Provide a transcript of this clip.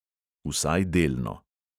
Vsaj delno.